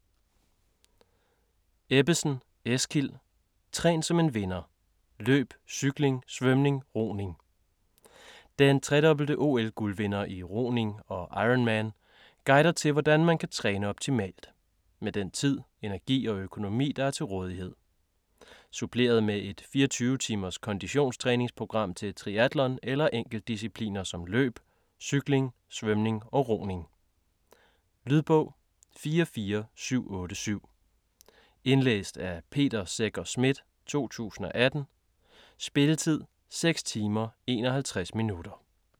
Ebbesen, Eskild: Træn som en vinder: løb, cykling, svømning, roning Den tredobbelte OL-guldvinder i roning og ironman guider til, hvordan man kan træne optimalt med den tid, energi og økonomi der er til rådighed. Suppleret med et 24 timers konditionstræningsprogram til triatlon eller enkeltdiscipliner som løb, cykling, svømning og roning. Lydbog 44787 Indlæst af Peter Secher Schmidt, 2018. Spilletid: 6 timer, 51 minutter.